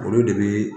Olu de bi